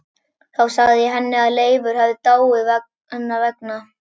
Þá sagði ég henni að Leifur hefði dáið hennar vegna.